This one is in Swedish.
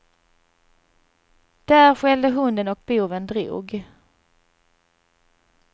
Där skällde hunden och boven drog.